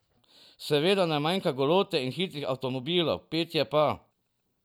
Seveda ne manjka golote in hitrih avtomobilov, petje pa ...